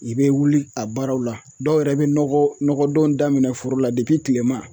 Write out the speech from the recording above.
I be wuli a baaraw la, dɔw yɛrɛ be nɔgɔ nɔgɔdon daminɛ foro la tilema.